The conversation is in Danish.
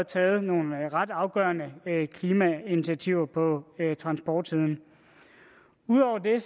taget nogle ret afgørende klimainitiativer på transportsiden udover det